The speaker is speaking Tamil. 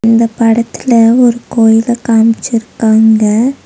இந்த படத்துல ஒரு கோயில காம்ச்சிருக்காங்க.